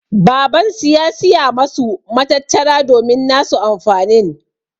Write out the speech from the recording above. Baban su ya Siya masu matattara domin nasu amfanin.